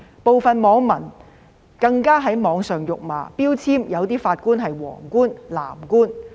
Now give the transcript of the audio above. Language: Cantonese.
部分網民更在網上辱罵，標籤某些法官是"黃官"、"藍官"。